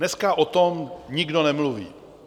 Dneska o tom nikdo nemluví.